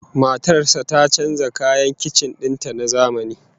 Matar sa ta canja kayan kicin din ta da na zamani